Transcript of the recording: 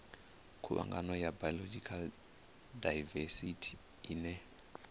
khuvhangano ya biological daivesithi ine